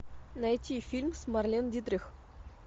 найти фильм с марлен дитрих